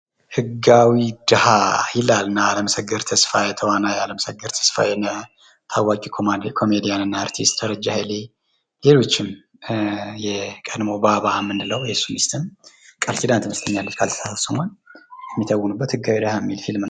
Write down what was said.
ህጋዊ ደሀ ! ይላል እነአለምሰገድ ተስፋየ ተዋናይ አለምሰገድ ተስፋየ እና ታዋቂ ኮሜድያን እና አርቲስት ደረጄ ኃይሌ ሌሎችም የቀድሞዉ ባባ የምንለዉ የሱ ሚስትም ቃል ኪዳን ትመስለኛለች ካልተሳሳትሁ ስሟን የሚተዉኑበት ህጋዊ ድሀ የሚል ፊልም ነዉ።